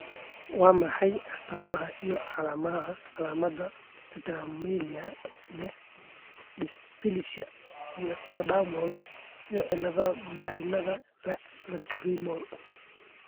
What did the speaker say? Waa maxay astamaha iyo calaamadaha Tetraamelia ee leh dysplasia ectodermal iyo cilladaha marinnada lacrimal?